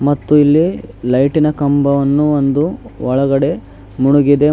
ಮತ್ತೆ ಇಲ್ಲಿ ಲೈಟಿನ ಕಂಬವನ್ನು ಒಂದು ಒಳಗಡೆ ಮುಳುಗಿದೆ.